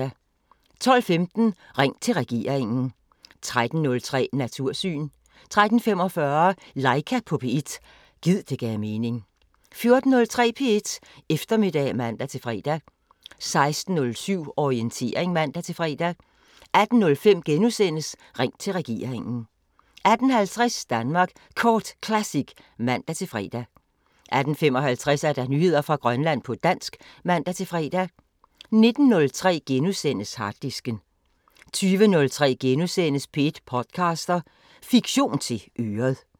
12:15: Ring til regeringen 13:03: Natursyn 13:45: Laika på P1 – gid det gav mening 14:03: P1 Eftermiddag (man-fre) 16:07: Orientering (man-fre) 18:05: Ring til regeringen * 18:50: Danmark Kort Classic (man-fre) 18:55: Nyheder fra Grønland på dansk (man-fre) 19:03: Harddisken * 20:03: P1 podcaster – Fiktion til øret *